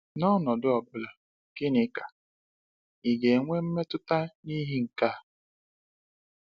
N’ọnọdụ ọ bụla, gịnị ka ị ga-enwe mmetụta n’ihi nke a?